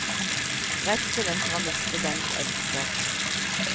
Redselen for å miste den du elsker.